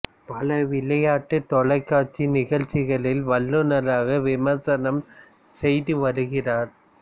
பல விளையாட்டுத் தொலைக்காட்சி நிகழ்ச்சிகளில் வல்லுனராக விமரிசனம் செய்து வருகிறார்